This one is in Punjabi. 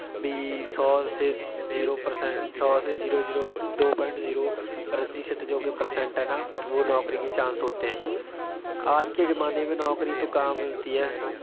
ਵੀ ਸੌ ਸੇ ਜੀਰੋ percent ਸੌ ਸੇ ਜੀਰੋ ਜੀਰੋ ਦੋ point ਜੀਰੋ ਪ੍ਰਤੀਸ਼ਤ ਜੋ percent ਹੈ ਨਾ, ਵੋ ਨੌਕਰੀ ਕੇ chance ਹੋਤੇ ਹੈਂ। ਆਜ ਕੇ ਜਮਾਨੇ ਮੇਂ ਨੌਕਰੀ ਤੋਂ ਕਹਾ ਮਿਲਤੀ ਹੈ।